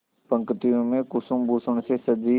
पंक्तियों में कुसुमभूषण से सजी